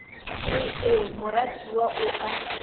re ee moratiwa o a